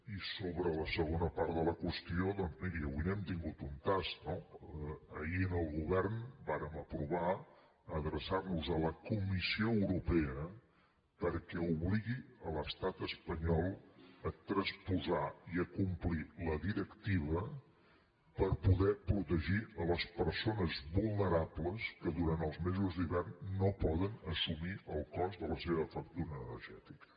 i sobre la segona part de la qüestió doncs miri avui n’hem tingut un tast no ahir en el govern vàrem aprovar adreçar nos a la comissió europea perquè obligui l’estat espanyol a transposar i a complir la directiva per poder protegir les persones vulnerables que durant els mesos d’hivern no poden assumir el cost de la seva factura energètica